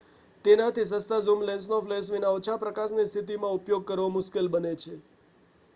તેનાથી સસ્તા ઝૂમ લેન્સનો ફ્લેશ વિના ઓછા પ્રકાશની સ્થિતિમાં ઉપયોગ કરવો મુશ્કેલ બને છે